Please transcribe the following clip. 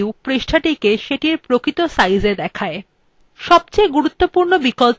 সবথেকে গুরুত্বপূর্ণ বিকল্প হল variable